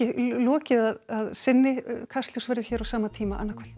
lokið að sinni Kastljós verður hér á sama tíma annað kvöld